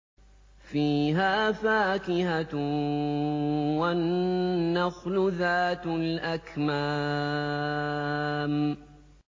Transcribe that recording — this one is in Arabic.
فِيهَا فَاكِهَةٌ وَالنَّخْلُ ذَاتُ الْأَكْمَامِ